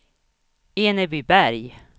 Enebyberg